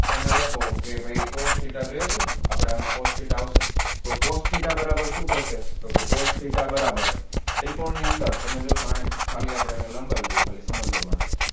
તમે લખો કે ભાઈ cos theta જોઈએ છે ને આપણે આમા cos theta આવશે તો cos theta બરાબર શુ થશે તો કે cos theta બરાબર ત્રિકોણ ની અંદર તમે જોશો આને ખાલી આપણે લંબાવી દઈએ ખાલી સમજવા માટે